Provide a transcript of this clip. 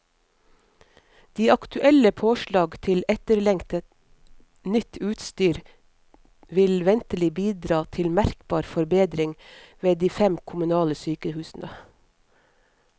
De aktuelle påslag til etterlengtet, nytt utstyr vil ventelig bidra til merkbar forbedring ved de fem kommunale sykehusene.